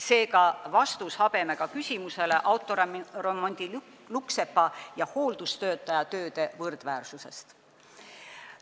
Seega, see on vastus habemega küsimusele autoremondilukksepa ja hooldustöötaja töö võrdväärsuse kohta.